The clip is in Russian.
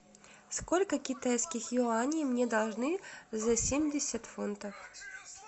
сколько китайских юаней мне должны за семьдесят фунтов